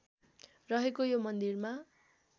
रहेको यो मन्दिरमा